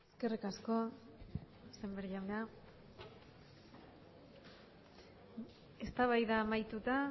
eskerrik asko sémper jauna eztabaida amaituta